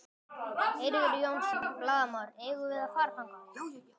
Eiríkur Jónsson, blaðamaður: Eigum við að fara þangað?